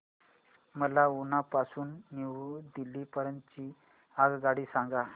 मला उना पासून न्यू दिल्ली पर्यंत ची आगगाडी सांगा